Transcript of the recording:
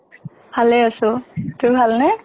ভালে আছো। তোৰ ভাল নে?